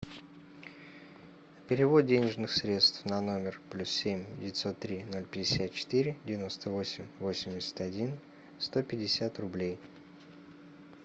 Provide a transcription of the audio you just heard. перевод денежных средств на номер плюс семь девятьсот три ноль пятьдесят четыре девяносто восемь восемьдесят один сто пятьдесят рублей